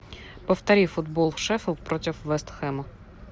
повтори футбол шеффилд против вест хэма